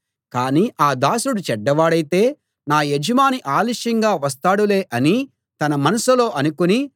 కానీ ఆ దాసుడు చెడ్డవాడైతే నా యజమాని ఆలస్యంగా వస్తాడులే అని తన మనసులో అనుకుని